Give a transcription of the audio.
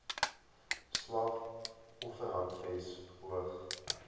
slag offerhandves hoog